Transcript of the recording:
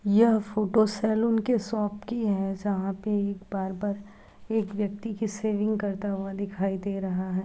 यह photo salon के shop की है जहां पे एक बार्बर एक व्यक्ति की सेविंग करता हुआ दिखाई दे रहा है।